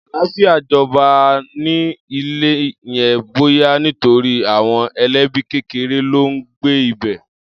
Àlàáfíà jọba an-an ní ilé yẹn, bóyá nítorí àwọn ẹlẹ́bí kékeré ló ń gbé ibẹ̀.